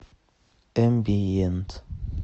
эмбиент